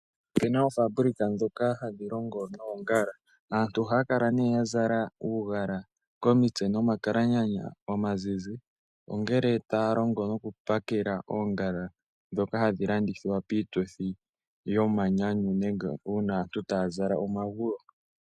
Ope na oofaabulika ndhoka hadhi longo noongala. Aantu ohaya kala ne ya zala uugala komitse nomakalanyanya omazizi, ongele taya longo nokupakela oongala ndhoka hadhi landithwa piituthi yomanyanyu nenge uuna aantu taa zala omaguwo.